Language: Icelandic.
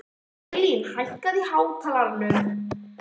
Hlín, hækkaðu í hátalaranum.